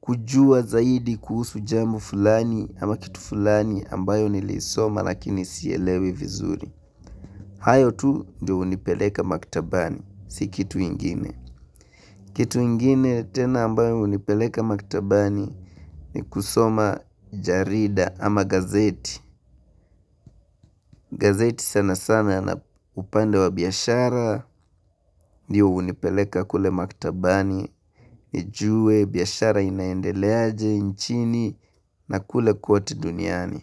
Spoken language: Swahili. kujua zaidi kuhusu jamu fulani ama kitu fulani ambayo nilisoma lakini sielewi vizuri. Hayo tu ndio hunipeleka maktabani, si kitu ingine. Kitu ingine tena ambayo unipeleka maktabani ni kusoma jarida ama gazeti. Gazeti sana sana na upande wa biashara, ndio hunipeleka kule maktabani, nijue biashara inaendeleaje nchini na kule kwote duniani.